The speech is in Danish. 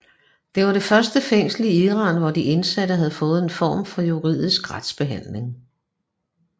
Det var det første fængsel i Iran hvor de indsatte havde fået en form for juridisk retsbehandling